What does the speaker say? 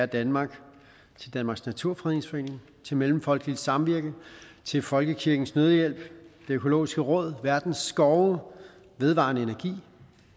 danmark til danmarks naturfredningsforening til mellemfolkeligt samvirke til folkekirkens nødhjælp det økologiske råd verdens skove vedvarendeenergi